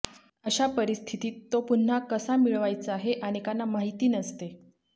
अशा परिस्थितीत तो पुन्हा कसा मिळवायचा हे अनेकांना माहिती नसते